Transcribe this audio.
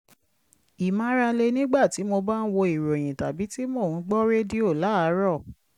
ìmárale nígbà tí mo bá ń wo ìròyìn tàbí tí mo ń gbọ́ rédíò láàárọ̀